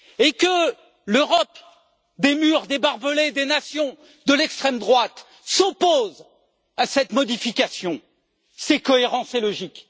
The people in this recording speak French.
Que l'Europe des murs, des barbelés, des nations de l'extrême droite s'oppose à cette modification, c'est cohérent et logique.